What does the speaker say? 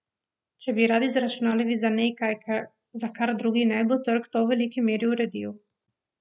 Če bi radi zaračunavali za nekaj, za kar drugi ne, bo trg to v veliki meri uredil.